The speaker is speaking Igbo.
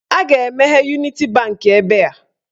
A ga-emeghe Uniti bankị ebe a.